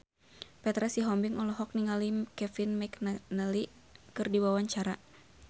Petra Sihombing olohok ningali Kevin McNally keur diwawancara